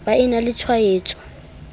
ba e na le tshwaetso